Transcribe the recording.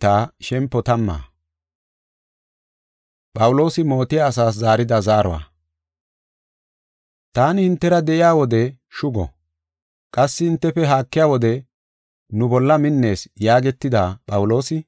Taani hintera de7iya wode, “Shugo”, qassi hintefe haakiya wode “Nu bolla minnees” yaagetida, Phawuloosi,